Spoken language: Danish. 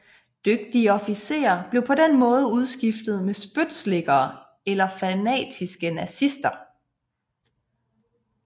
Dygtige officerer blev på den måde udskiftet med spytslikkere eller fanatiske nazister